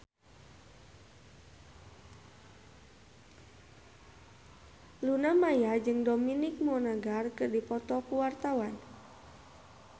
Luna Maya jeung Dominic Monaghan keur dipoto ku wartawan